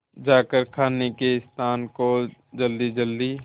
जाकर खाने के स्थान को जल्दीजल्दी